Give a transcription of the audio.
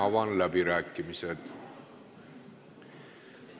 Avan läbirääkimised.